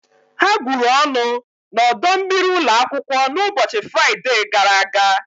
Ha gwuru ọnụ n'ọdọ mmiri ụlọ akwụkwọ n'ụbọchị Fraịde gara aga.